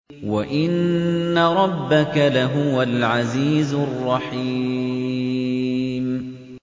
وَإِنَّ رَبَّكَ لَهُوَ الْعَزِيزُ الرَّحِيمُ